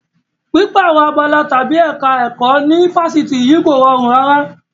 Pípààrọ̀ abala tàbí ẹ̀ka ẹ̀kọ́ ní Fáṣítì yìí kò rọrùn rárá.